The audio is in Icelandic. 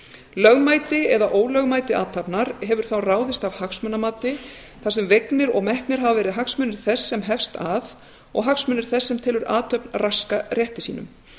lögmæti eða ólögmæti athafnar hefur þá ráðist af hagsmunamati þar sem vegnir og metnir hafa verið hagsmunir þess sem hefst að og hagsmunir þess sem telur athöfn raska rétti sínum